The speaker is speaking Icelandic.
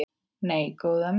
Nei, góða mín.